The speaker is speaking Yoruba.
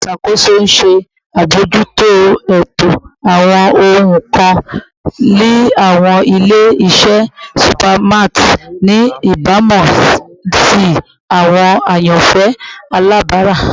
Oluṣakoso n ṣe abojuto eto awọn ohun kan ni awọn ile-iṣẹ supermarts ni ibamu si awọn ayanfẹ alabara